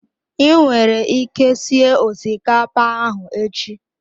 I nwere ike sie osikapa ahụ echi.